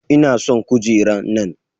Ina son kujera nan.